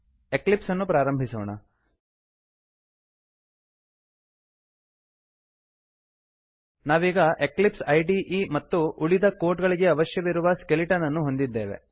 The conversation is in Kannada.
ಎಕ್ಲಿಪ್ಸನ್ನು ಪ್ರಾರಂಭಿಸೋಣ ನಾವೀಗ ಎಕ್ಲಿಪ್ಸ್ ಇದೆ ಐಡಿಇ ಮತ್ತು ಉಳಿದ ಕೋಡ್ ಗಳಿಗೆ ಅವಶ್ಯಕವಿರುವ ಸ್ಕೆಲಿಟನ್ ಅನ್ನು ಹೊಂದಿದ್ದೇವೆ